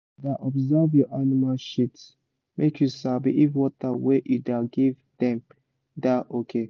da observe your animal shit make you sabi if water wey you da give dem da okay